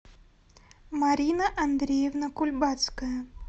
марина андреевна кульбацкая